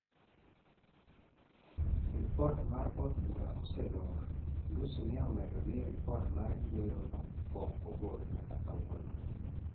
ripot mar od bura oselor, Lussi ne omedo ni ripot mar yiero no pok ogol nyaka kawuono